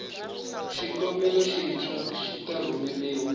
xikombelo xintshwa xi ta rhumeriwa